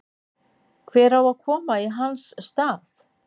Hver á að koma í hans stað?